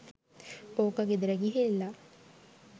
ඕක ගෙදර ගිහිල්ල